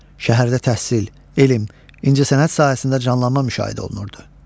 Şəhərdə təhsil, elm, incəsənət sahəsində canlanma müşahidə qeydə alınırdı.